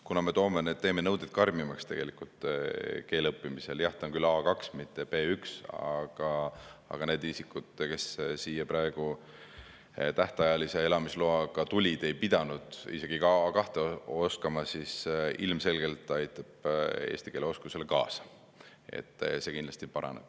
Kuna me tegelikult teeme need nõuded karmimaks keele õppimisel – jah, on küll A2, mitte B1, aga need isikud, kes siia seni tähtajalise elamisloaga tulid, ei pidanud isegi A2- oskama –, siis see ilmselgelt aitab eesti keele oskusele kaasa, see kindlasti paraneb.